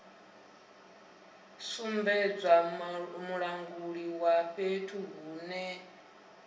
sumbedza mulanguli wa fhethu hune